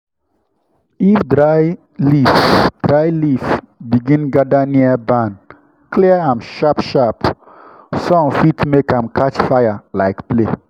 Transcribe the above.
if dry leaf dry leaf begin gather near barn clear am sharp-sharp—sun fit make am catch fire like play.